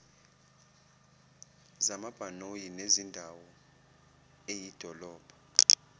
zamabhanoyi nezendawo eyidolobha